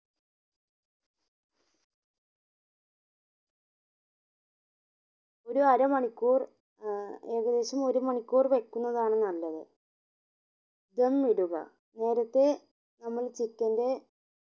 ഒരു അര മണിക്കൂർ ഏർ ഏകദേശം ഒരു മണിക്കൂർ വെക്കുന്നതാണ് നല്ലത് ധം ഇടുക നേരെത്തെ നമ്മൾ chicken ന്റെ